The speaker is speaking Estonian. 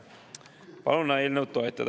Palun eelnõu toetada.